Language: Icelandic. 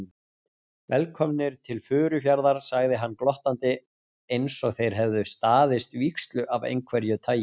Velkomnir til Furufjarðar sagði hann glottandi einsog þeir hefðu staðist vígslu af einhverju tagi.